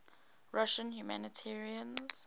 russian humanitarians